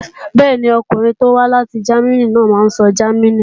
Bẹ́ẹ̀ni, ọkùnrin tó wá láti Jámínì náà máa sọ Jámánì.